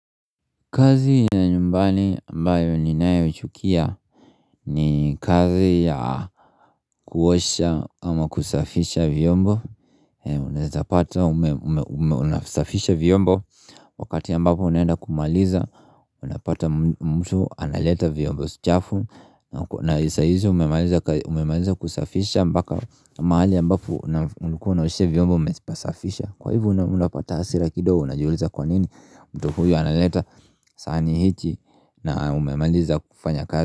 Kazi ya nyumbani ambayo ninayo ichukia ni kazi ya kuosha ama kusafisha vyombo Unaezapata, unasafisha vyombo Wakati ambapo unaenda kumaliza Unapata mtu analeta vyombo chafu na sa hizo umemaliza kusafisha mpaka mahali ambapo ulikuwa unaoshea vyombo umepasafisha Kwa hivo unapata hasira kidogo unajiuliza kwa nini mtu huyu analeta sahani hiki na umemaliza kufanya kazi.